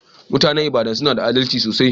Mutanen lbadan suna da adalci sosai.